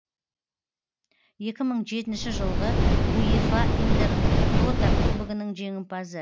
екі мың жетінші жылғы уефа интер тото кубогінің жеңімпазы